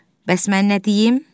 Bəs mən nə deyim?